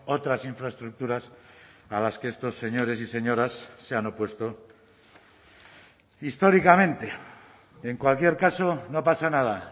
otras infraestructuras a las que estos señores y señoras se han opuesto históricamente en cualquier caso no pasa nada